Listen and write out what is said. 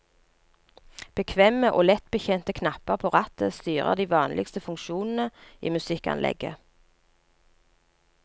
Bekvemme og lettbetjente knapper på rattet styrer de vanligste funksjonene i musikkanlegget.